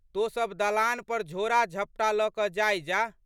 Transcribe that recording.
तोँ सब दलान पर झोड़ाझपटा लऽ कऽ जाइ जाह।